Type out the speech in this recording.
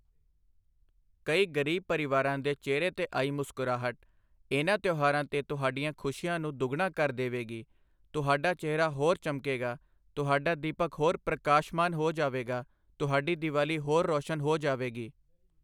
ਕਈ ਗ਼ਰੀਬ ਪਰਿਵਾਰਾਂ ਦੇ ਚਿਹਰੇ ਤੇ ਆਈ ਮੁਸਕਰਾਹਟ, ਇਨ੍ਹਾਂ ਤਿਓਹਾਰਾਂ ਤੇ ਤੁਹਾਡੀਆਂ ਖੁਸ਼ੀਆਂ ਨੂੰ ਦੁੱਗਣਾ ਕਰ ਦੇਵੇਗੀ, ਤੁਹਾਡਾ ਚਿਹਰਾ ਹੋਰ ਚਮਕੇਗਾ, ਤੁਹਾਡਾ ਦੀਪਕ ਹੋਰ ਪ੍ਰਕਾਸ਼ਮਾਨ ਹੋ ਜਾਵੇਗਾ, ਤੁਹਾਡੀ ਦੀਵਾਲੀ ਹੋਰ ਰੋਸ਼ਨ ਹੋ ਜਾਵੇਗੀ।